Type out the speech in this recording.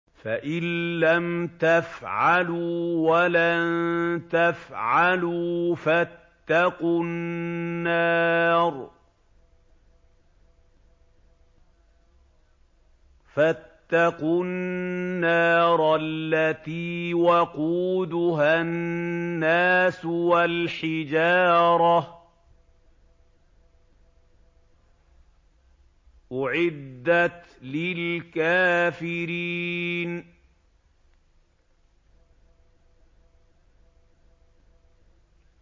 فَإِن لَّمْ تَفْعَلُوا وَلَن تَفْعَلُوا فَاتَّقُوا النَّارَ الَّتِي وَقُودُهَا النَّاسُ وَالْحِجَارَةُ ۖ أُعِدَّتْ لِلْكَافِرِينَ